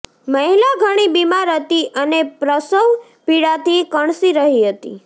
મહિલા ઘણી બીમાર હતી અને પ્રસવ પીડાથી કણસી રહી હતી